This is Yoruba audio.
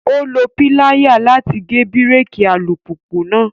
Ó lo piláyà láti gé bíréèkì alùpùpù náà